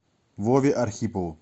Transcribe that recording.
вове архипову